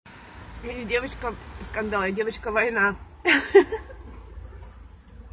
ты не девочка скандал а девочка война